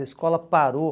A escola parou.